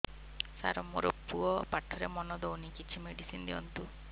ସାର ମୋର ପୁଅ ପାଠରେ ମନ ଦଉନି କିଛି ମେଡିସିନ ଦିଅନ୍ତୁ